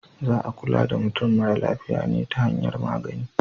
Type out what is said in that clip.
Za a kula da mutum mara lafiya ne ta hanyar magani.